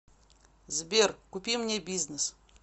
сбер купи мне бизнес